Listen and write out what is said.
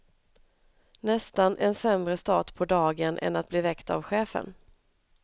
Nästan en sämre start på dagen än att bli väckt av chefen.